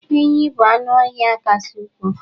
enyí bụ anụ ọhịa kasị ukwuu